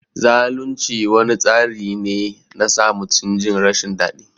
Zalunci wani tsari ne na sa mutum Jin rashin dadi.